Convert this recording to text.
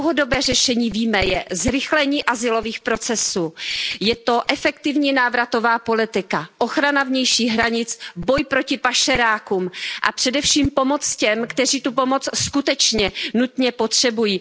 Dlouhodobým řešením je, jak víme, zrychlení azylových procesů, efektivní návratová politika, ochrana vnějších hranic, boj proti pašerákům a především pomoc těm, kteří tu pomoc skutečně nutně potřebují.